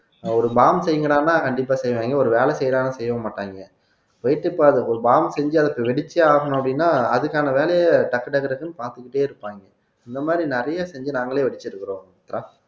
ஒரு பாம் செய்ங்கடான்னா கண்டிப்பா செய்வாங்க ஒரு வேலை செய்யறான்னா செய்யவும் மாட்டாங்க ஒரு பாம் செஞ்சு அதுக்கு வெடிச்சே ஆகணும் அப்படின்னா அதுக்கான வேலையை டக்கு டக்கு டக்குன்னு பாத்துக்கிட்டே இருப்பாங்க இந்த மாதிரி நிறைய செஞ்சு நாங்களே வெடிச்சிருக்கிறோம்